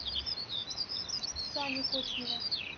саню кочнева